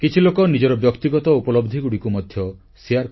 କିଛି ଲୋକ ନିଜର ବ୍ୟକ୍ତିଗତ ଉପଲବ୍ଧିଗୁଡ଼ିକୁ ମଧ୍ୟ ଶେୟାର କଲେ